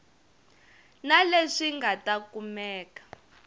na leswi nga ta kumeka